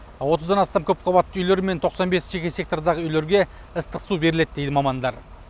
отыздан астам көпқабатты үйлер мен тоқсан бес жеке сектордағы үйлерге ыстық су беріледі деді мамандар